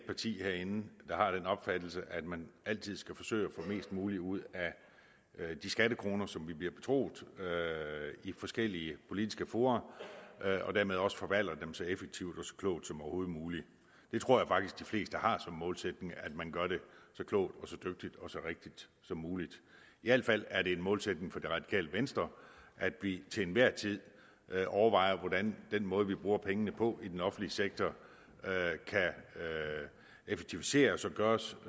partier herinde har den opfattelse at man altid skal forsøge at få mest muligt ud af de skattekroner som vi bliver betroet i forskellige politiske fora og dermed også forvalte dem så effektivt og så klogt som overhovedet muligt jeg tror faktisk de fleste har som målsætning at man gør det så klogt og så dygtigt og så rigtigt som muligt i al fald er det en målsætning for det radikale venstre at vi til enhver tid overvejer hvordan den måde vi bruger pengene på i den offentlige sektor kan effektiviseres og gøres